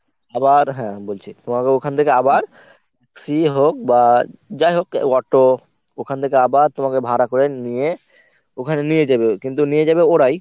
আবার হ্যাঁ বলছি। তোমাকে ওখান থেকে আবার sea হোক বা যাই হোক a~ auto ওখান থেকে আবার তোমাকে ভাড়া করে নিয়ে ওখানে নিয়ে যাবে কিন্তু নিয়ে যাবে ওরাই।